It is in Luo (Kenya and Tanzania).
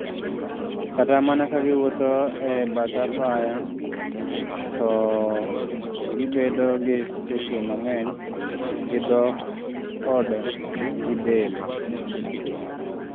"Kata mana ka giwuotho e pet apaya, to gibedo gi sache mang'eny, gi dhok kod gi del."""